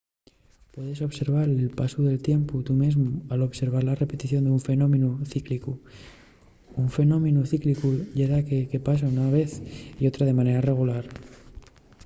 puedes observar el pasu del tiempu tu mesmu al observar la repetición d’un fenómenu cíclicu. un fenómenu cíclicu ye daqué que pasa una vez y otra de manera regular